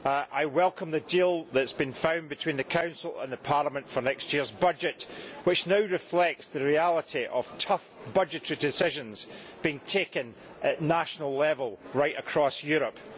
I welcome the deal which has been found between the Council and Parliament for next year's budget which now reflects the reality of tough budgetary decisions being taken at national level right across Europe.